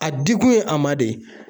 A dikun ye a ma de